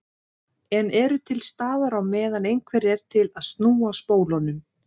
En eru til staðar á meðan einhver er til að snúa spólunum.